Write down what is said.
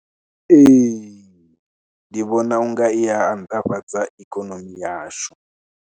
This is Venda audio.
Ee ndi vhona u nga i ya ntakadza ikonomi yashu.